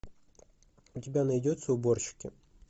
у тебя найдется уборщики